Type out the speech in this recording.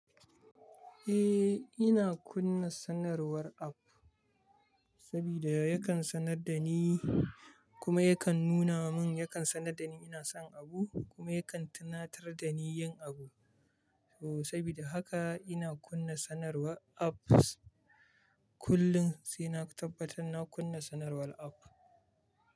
Eh, ina kunna sanarwar app sabida yakan sanar da ni, kuma yakan nuna mun, yakan sanar da ni ina son abu kuma yakan tunatar da ni yin abu. Oh, sabida haka ina kunna sanarwar apps kullum sai na tabbatar na kunna sanarwar app.